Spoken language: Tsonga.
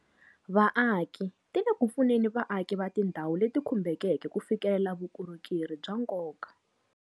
Vaaki ti le ku pfuneni vaaki va tindhawu leti kumbekeke ku fikelela vukorhokeri bya nkoka.